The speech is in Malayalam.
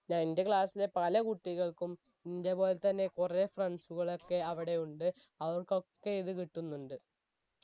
എന്റെ class ലെ പല കുട്ടികൾക്കും ഇന്റെ പോലെത്തന്നെ കുറെ friends കാലൊക്കെ അവിടെ ഉണ്ട് അവർക്കൊക്കെ ഇത് കിട്ടുന്നുണ്ട്